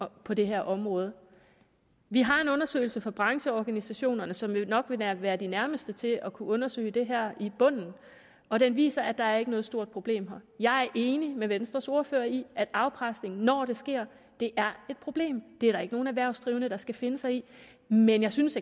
på det her område vi har en undersøgelse fra brancheorganisationerne som jo nok vil være være de nærmeste til at kunne undersøge det her til bunds og den viser at der ikke er noget stort problem her jeg er enig med venstres ordfører i at afpresning når det sker er et problem det er der ikke nogen erhvervsdrivende der skal finde sig i men jeg synes